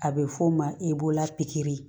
A bɛ f'o ma